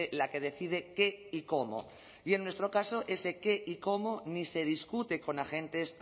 la que decide qué y cómo y en nuestro caso ese qué y cómo ni se discute con agentes